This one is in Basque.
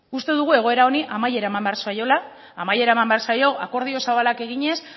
uste dugu egoera honi amaiera eman behar zaiola amaiera eman behar zaio akordio zabalak eginez